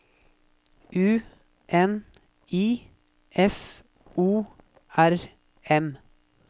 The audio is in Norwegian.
U N I F O R M